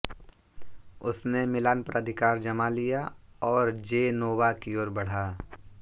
उसने मिलान पर अधिकार जमा लिया और जेनोवा की ओर बढ़ा